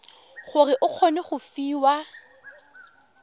gore o kgone go fiwa